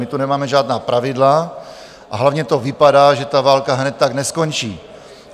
My tu nemáme žádná pravidla, a hlavně to vypadá, že ta válka hned tak neskončí.